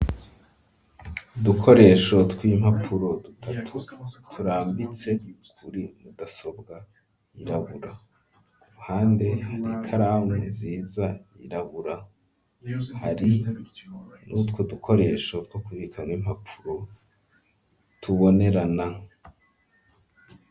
Udukoresho tw'impapuro dutatu turambitse kuri mudasobwa yirabura, kuruhande hari ikaramu nziza yirabura, hari n'utwo dukoresho two kubikamwo impapuro tubonerana.